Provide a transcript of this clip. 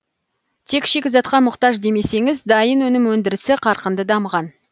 тек шикізатқа мұқтаж демесеңіз дайын өнім өндірісі қарқынды дамыған